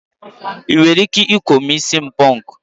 ị nwere ike ikou'm isi punku?